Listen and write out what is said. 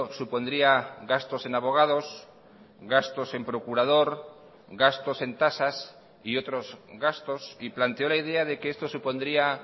supondría gastos en abogados gastos en procurador gastos en tasas y otros gastos y planteó la idea de que esto supondría